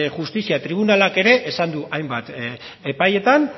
justizia tribunalak ere esan du hainbat epaietan